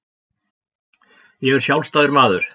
Ég er sjálfstæður maður.